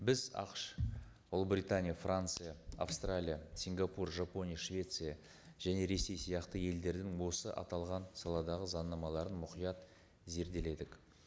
біз ақш ұлыбритания франция австралия сингапур жапония швеция және ресей сияқты елдердің осы аталған саладағы заңнамаларын мұқият зерделедік